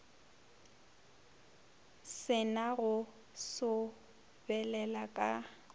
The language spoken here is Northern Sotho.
se na go sobelela ka